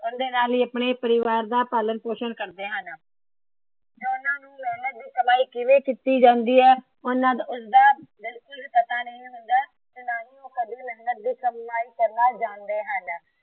ਉਹਂਦੇ ਨਾਲ ਹੀ ਆਪਣੇ ਪਰਿਵਾਰ ਦਾ ਪਾਲਣ ਪੋਸ਼ਣ ਕਰਦੇ ਹਨ। ਉਹਨਾਂ ਨੂੰ ਮੇਹਨਤ ਦੀ ਕਮਾਈ ਕਿਵੇਂ ਕੀਤੀ ਜਾਂਦੀ ਹੈ? ਉਸ ਦਾ ਕੁਝ ਪਤਾ ਨਹੀਂ ਹੁੰਦਾ।